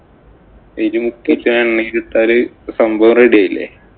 മുക്കിയിട്ടു എണ്ണയിലിട്ടാല് സംഭവം ready ആയില്ലേ.